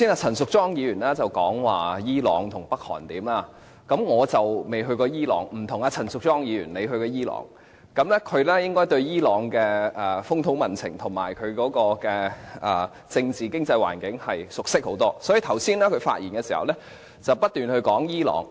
陳淑莊議員剛才說伊朗和北韓的情況，我未去過伊朗，與陳淑莊議員不同，她曾前往伊朗，對伊朗的風土民情及政治經濟環境熟識得多，所以剛才她發言時不斷談及伊朗。